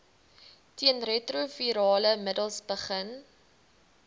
teenretrovirale middels begin